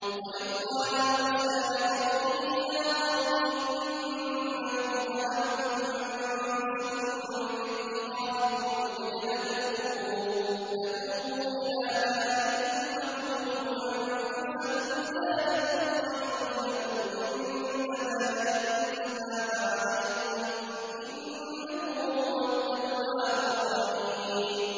وَإِذْ قَالَ مُوسَىٰ لِقَوْمِهِ يَا قَوْمِ إِنَّكُمْ ظَلَمْتُمْ أَنفُسَكُم بِاتِّخَاذِكُمُ الْعِجْلَ فَتُوبُوا إِلَىٰ بَارِئِكُمْ فَاقْتُلُوا أَنفُسَكُمْ ذَٰلِكُمْ خَيْرٌ لَّكُمْ عِندَ بَارِئِكُمْ فَتَابَ عَلَيْكُمْ ۚ إِنَّهُ هُوَ التَّوَّابُ الرَّحِيمُ